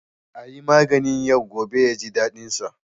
A yi maganin yau gobe ya ji daɗinsa.